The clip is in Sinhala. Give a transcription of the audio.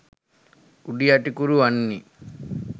උඩියටිකුරු වන්නේ